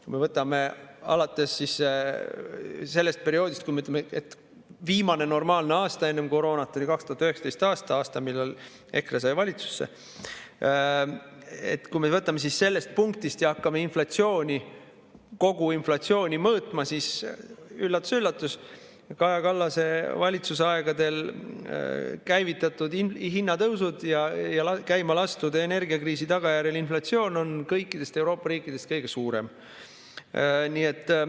Kui me võtame alates sellest perioodist, mis oli viimane normaalne aasta enne koroonat oli 2019. aasta – aasta, millal EKRE sai valitsusse –, kui me võtame sellest punktist ja hakkame kogu inflatsiooni mõõtma, siis üllatus-üllatus: Kaja Kallase valitsuse aegadel käivitatud hinnatõusud ja käima lastud energiakriisi tagajärjel tekkinud inflatsioon on meil kõikidest Euroopa riikidest kõige suuremad.